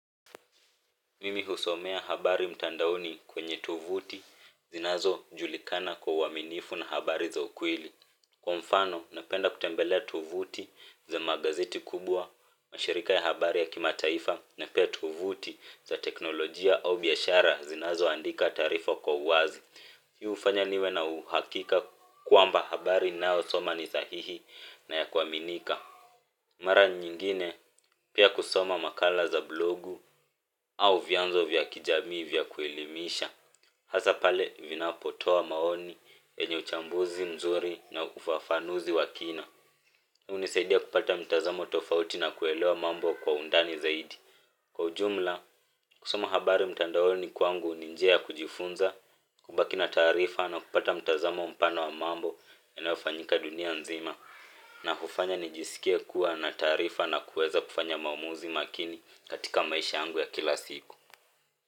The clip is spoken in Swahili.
Mimi husomea habari mtandaoni kwenye tovuti zinazojulikana kwa uaminifu na habari za ukweli. Kwa mfano, napenda kutembelea tovuti za magazeti kubwa, mashirika ya habari ya kimataifa na pia tovuti za teknolojia au biashara zinazoandika taarifa kwa uwazi. Hii hufanya niwe na uhakika kwamba habari ninayosoma ni sahihi na ya kuaminika. Mara nyingine pia kusoma makala za blogu au vyanzo vya kijamii vya kuelimisha. Hasa pale vinapotoa maoni yenye uchambuzi mzuri na ufafanuzi wa kina. Hunisaidia kupata mtazamo tofauti na kuelewa mambo kwa undani zaidi, kwa ujumla kusoma habari mtandaoni kwangu ni njia kujifunza kubaki na taarifa na kupata mtazamo mpana wa mambo yanayofanyika dunia nzima. Na hufanya nijisikia kuwa na taarifa na kuweza kufanya maamuzi makini katika maisha yangu ya kila siku.